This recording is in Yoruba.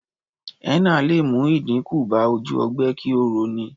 Henna lè mú ìdínkù bá ojú ogbe kí ó rọ ní.